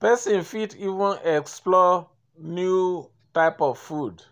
person fit even explore new type of food